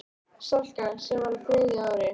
Salka, sem var á þriðja ári.